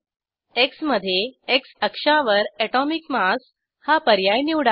Xमधे X अक्षावर atomic mass हा पर्याय निवडा